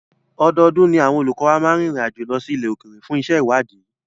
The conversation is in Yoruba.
Ọdọọdún ni àwọn olùkọ́ wa máa ń rinrin àjo lọ́ sí ilẹ̀ òkèrè fún iṣé ìwádìí.